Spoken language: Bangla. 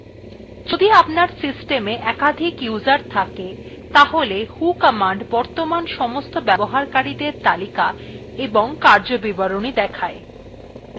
যদি আপনার সিস্টমa একাধিক user থাকে তাহলে who command বর্তমান সমস্ত ব্যবহারকারীদের তালিকা এবং কার্যবিবরণী দেখায়